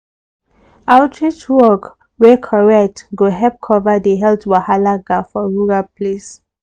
outreach work wey correct go help cover the health wahala gap for rural place.